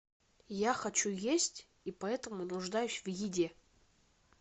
я хочу есть и поэтому нуждаюсь в еде